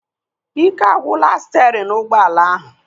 Ike agwụla sterin ụgbọala ahu